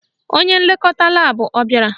Onye nlekọta laabụ abịara?